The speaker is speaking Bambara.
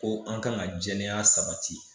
Ko an kan ka jɛya sabati